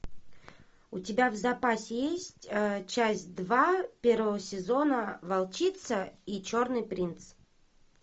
у тебя в запасе есть часть два первого сезона волчица и черный принц